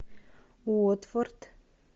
уотфорд